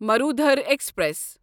Marudhar express